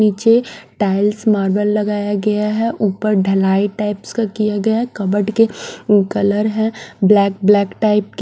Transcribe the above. नीचे tiles marble लगाया गया है ऊपर ढलाई टाइप्स का किया गया है कबर्ड के कलर है ब्लैक -ब्लैक टाइप के--